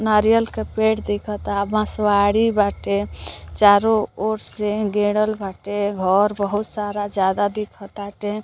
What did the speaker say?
नारियल क पेड़ दिखता बसवारी बाटे चारों ओर से गेडल बाटे घर बहुत सारा ज्यादा दिखटाटे |